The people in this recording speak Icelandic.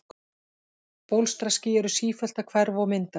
Bólstraský eru sífellt að hverfa og myndast.